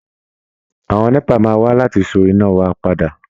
Àwọn NEPA máa wá láti so iná wa padà